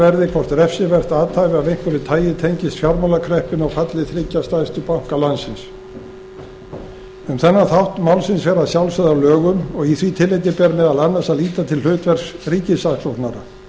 verði hvort refsivert athæfi af einhverju tagi tengist fjármálakreppunni og falli þriggja stærstu banka landsins um þennan þátt málsins fer að sjálfsögðu að lögum og í því tilliti ber meðal annars að líta til hlutverks ríkissaksóknara